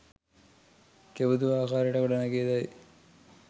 කෙබඳු ආකාරයකට ගොඩ නැගේදැයි